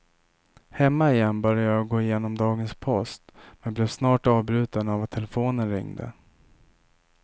Hemma igen började jag gå igenom dagens post men blev snart avbruten av att telefonen ringde.